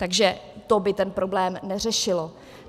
Takže to by ten problém neřešilo.